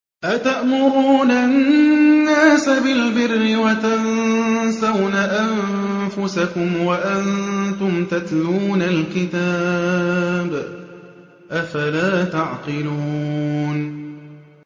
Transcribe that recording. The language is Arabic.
۞ أَتَأْمُرُونَ النَّاسَ بِالْبِرِّ وَتَنسَوْنَ أَنفُسَكُمْ وَأَنتُمْ تَتْلُونَ الْكِتَابَ ۚ أَفَلَا تَعْقِلُونَ